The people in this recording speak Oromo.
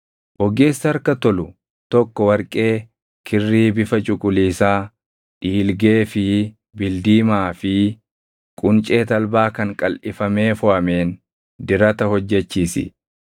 “Ogeessa harka tolu tokko warqee, kirrii bifa cuquliisaa, dhiilgee fi bildiimaa fi quncee talbaa kan qalʼifamee foʼameen dirata hojjechiisi.